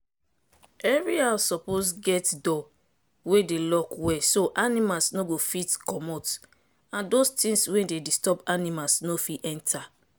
every house suppose get door wey dey lock well so animals no go fit commot and those tins wey dey disturb animals no fit enter.